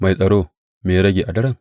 Mai tsaro, me ya rage a daren?